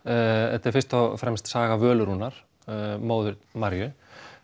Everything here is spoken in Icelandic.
þetta er fyrst og fremst saga Völu Rúnar móður Maríu